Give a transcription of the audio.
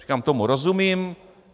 Říkám, tomu rozumím.